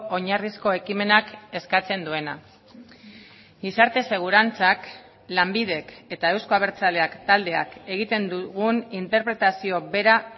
oinarrizko ekimenak eskatzen duena gizarte segurantzak lanbidek eta euzko abertzaleak taldeak egiten dugun interpretazio bera